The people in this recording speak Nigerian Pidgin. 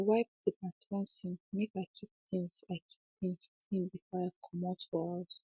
i wiped de bathroom sink make i keep things i keep things clean before i commote for house